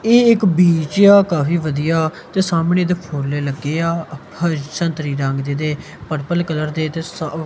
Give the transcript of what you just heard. ਇਹ ਇੱਕ ਬੀਜ ਏ ਆ ਕਾਫੀ ਵਧੀਆ ਤੇ ਸਾਹਮਣੇ ਇਹਦੇ ਫੁੱਲ ਲੱਗੇ ਆ ਹ ਸੰਤਰੀ ਰੰਗ ਦੇ ਤੇ ਪਰਪਲ ਕਲਰ ਦੇ ਤੇ ਸ--